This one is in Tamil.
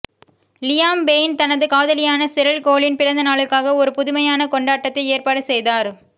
லியாம் பெய்ன் தனது காதலியான செரில் கோலின் பிறந்த நாளுக்காக ஒரு புதுமையான கொண்டாட்டத்தை ஏற்பாடு செய்தார்